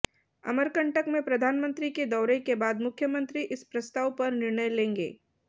अमरकंटक में प्रधानमंत्री के दौरे के बाद मुख्यमंत्री इस प्रस्ताव पर निर्णय लेंगे